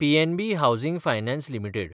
PNB housing finance limited